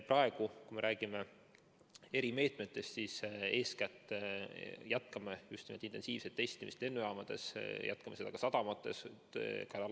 Praegu, kui me räägime erimeetmetest, siis eeskätt jätkame just nimelt intensiivset testimist lennujaamades, jätkame seda ka sadamates.